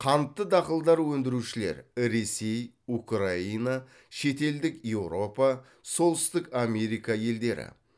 қантты дақылдар өндірушілер ресей украина шетелдік еуропа солтүстік америка елдері